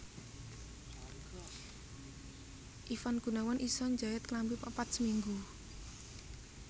Ivan Gunawan iso njait klambi papat seminggu